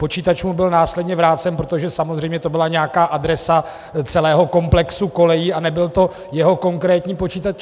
Počítač mu byl následně vrácen, protože samozřejmě to byla nějaká adresa celého komplexu kolejí a nebyl to jeho konkrétní počítač.